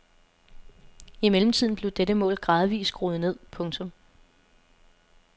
I mellemtiden blev dette mål gradvist skruet ned. punktum